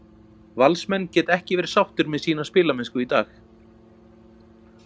Valsmenn geta ekki verið sáttir með sína spilamennsku í dag.